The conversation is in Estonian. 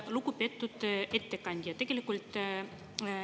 Lugupeetud ettekandja!